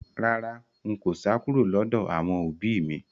Rárá, n kò sá kúrò lọ́dọ̀ àwọn òbí mi